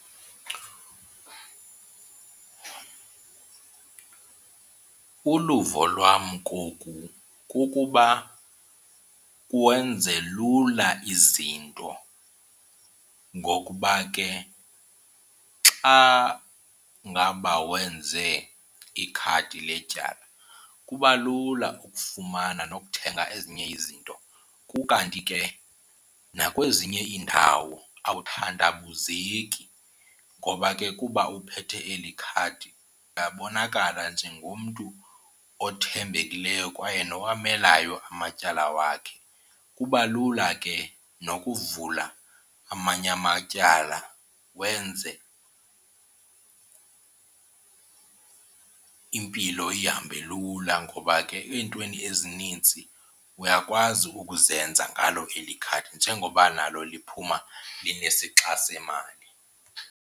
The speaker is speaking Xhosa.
Uluvo lwam koku kukuba kwenze lula izinto ngokuba ke xa ngaba wenze ikhadi letyala kuba lula ukufumana nokuthenga ezinye izinto. Kukanti ke nakwezinye iindawo awuthandabuzeki ngoba ke kuba uphethe eli khadi uyabonakala njengomntu othembekileyo kwaye nowamelayo amatyala wakhe. Kuba lula ke nokuvula amanye amatyala wenze impilo ihambe lula ngoba ke eentweni ezinintsi uyakwazi ukuzenza ngalo eli khadi njengoba nalo liphuma linesixa semali.